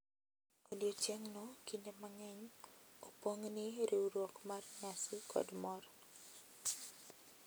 Odiechieng’no kinde mang’eny opong’ gi riwruok mar nyasi kod mor,